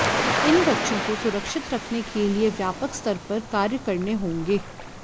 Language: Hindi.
इन बच्चों को सुरक्षित रखने के लिए व्यापक स्तर पर कार्य करने होंगे